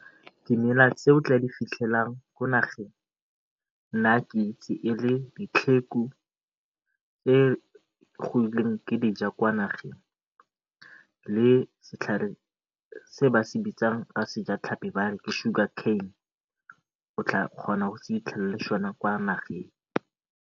Dimela tse o tla di fitlhelwang mo nageng, nna ke itse e le e e kwa nageng le setlhare se ba se bitsang ka sejatlhapi ba re ke sugar cane otla kgona go se fitlhela le sone kwa nageng.